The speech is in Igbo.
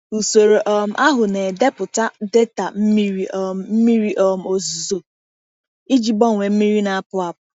Usoro um ahụ na-edepụta data mmiri um mmiri um ozuzo iji gbanwee mmiri na-apụ apụ.